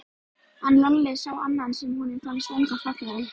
En Lalli sá annan sem honum fannst ennþá fallegri.